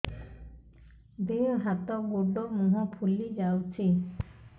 ଦେହ ହାତ ଗୋଡୋ ମୁହଁ ଫୁଲି ଯାଉଛି